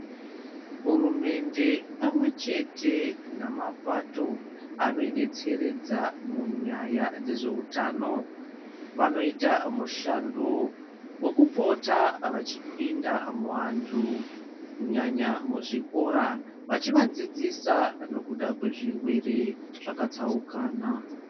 Hurumende pamwe chete namabato anodetseredza munyaya dzezveutano vanoita mushando wokupota vechipinda muantu kunyanya muzvikora vechivadzidzisa nekuda kwezvirwere zvakatsaukana.